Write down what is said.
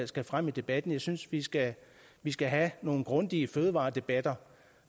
skal frem i debatten jeg synes vi skal vi skal have nogle grundige fødevaredebatter